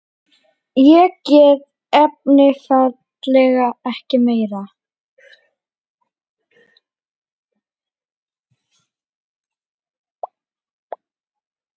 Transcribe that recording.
Ég gat einfaldlega ekki meir.